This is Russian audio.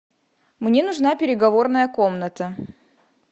мне нужна переговорная комната